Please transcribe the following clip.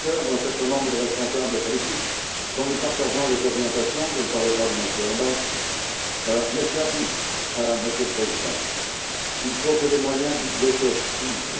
Juncker, d'un certain nombre de responsables politiques, dont nous partageons les orientations je ne parle pas de M. Orbán mais, Monsieur le Président, il faut que les moyens budgétaires suivent.